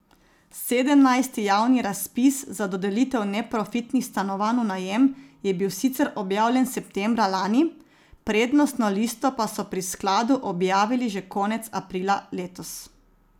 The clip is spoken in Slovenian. Sedemnajsti javni razpis za dodelitev neprofitnih stanovanj v najem je bil sicer objavljen septembra lani, prednostno listo pa so pri skladu objavili že konec aprila letos.